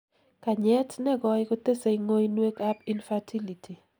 kanyet negoi kotesei ngoinwek ab infertility